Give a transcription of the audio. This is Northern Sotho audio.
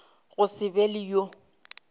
go se be le yo